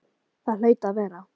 Það hlaut að vera.